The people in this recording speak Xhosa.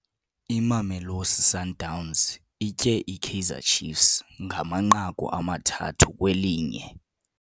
Imamelosi Sundowns itye iKaizer Chiefs ngamanqaku amathathu kwelinye.